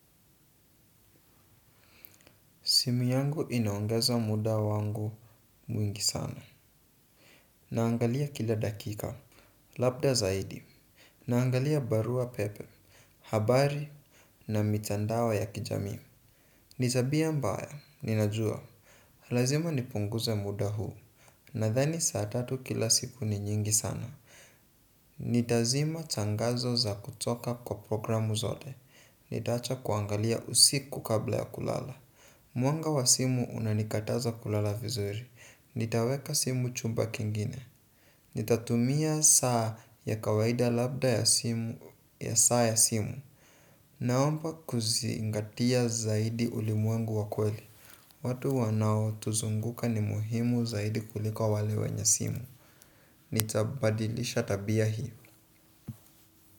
Simu yangu inaongeza muda wangu mwingi sana. Naangalia kila dakika. Labda zaidi. Naangalia barua pepe. Habari na mitandao ya kijamii. Ni tabia mbaya. Ninajua. Lazima nipunguze muda huu. Nadhani saa tatu kila siku ni nyingi sana. Nitazima tangazo za kutoka kwa programu zote. Nitaacha kuangalia usiku kabla ya kulala mwanga wa simu unanikataza kulala vizuri. Nitaweka simu chumba kingine. Nitatumia saa ya kawaida labda ya saa ya simu. Naomba kuzingatia zaidi ulimwengu wa kweli. Watu wanaotuzunguka ni muhimu zaidi kuliko wale wenye simu. Nitabadilisha tabia hio.